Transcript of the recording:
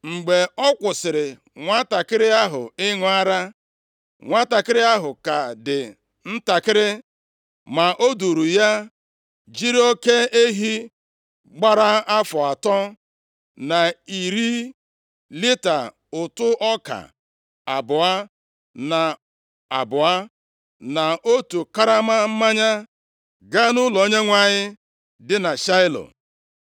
Mgbe ọ kwụsịrị nwantakịrị ahụ ịṅụ ara, nwantakịrị ahụ ka dị ntakịrị. Ma o duuru ya, jiri oke ehi gbara afọ atọ, na iri lita ụtụ ọka abụọ na abụọ, na otu karama mmanya, gaa nʼụlọ Onyenwe anyị dị na Shaịlo.